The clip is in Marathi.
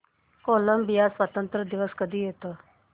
कोलंबिया स्वातंत्र्य दिवस कधी येतो